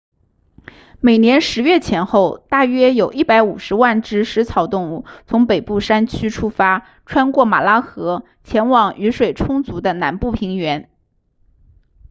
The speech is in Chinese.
每年10月前后大约有150万只食草动物从北部山区出发穿过马拉河前往雨水充足的南部平原